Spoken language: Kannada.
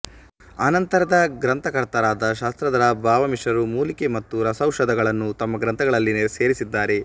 ಅನಂತರದ ಗ್ರಂಥಕರ್ತರಾದ ಶಾಙ್ರ್ಗಧರ ಭಾವಮಿಶ್ರರು ಮೂಲಿಕೆ ಮತ್ತು ರಸೌಷಧಗಳನ್ನು ತಮ್ಮ ಗ್ರಂಥಗಳಲ್ಲಿ ಸೇರಿಸಿದ್ದಾರೆ